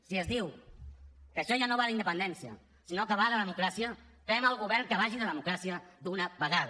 si es diu que això ja no va d’independència sinó que va de democràcia fem el govern que vagi de democràcia d’una vegada